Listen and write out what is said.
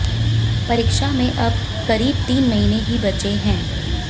परीक्षा में अब करीब तीन महीने ही बचे हैं